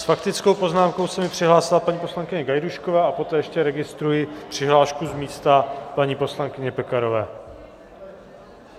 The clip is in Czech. S faktickou poznámkou se mi přihlásila paní poslankyně Gajdůšková a poté ještě registruji přihlášku z místa paní poslankyně Pekarové.